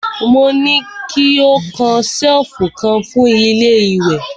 Mo ní ki ó kan ṣẹ̀lfù kan fún ilé ìwẹ̀!